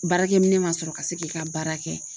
Baarakɛminɛn ma sɔrɔ ka se k'i ka baara kɛ.